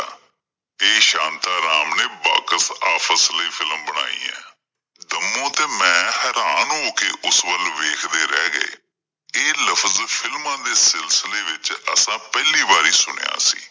ਤੇ ਸ਼ਾਂਤਾ ਰਾਮ ਨੇ Box office ਲਈ film ਬਣਾਈ ਆਂ, ਦੰਮੂ ਤੇ ਮੈਂ ਹੈਰਾਨ ਹੋ ਕਿ ਉਸ ਵੱਲ ਵੇਖ ਦੇ ਰਹਿਗੇ। ਇਹ ਲਫ਼ਜ਼ films ਦੇ ਸਿਲਸਿਲੇ ਵਿੱਚ ਅਸਾਂ ਪਹਿਲੀ ਵਾਰੀ ਸੁਣਿਆ ਸੀ।